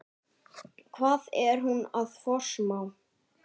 Hvað er hún að forsmá?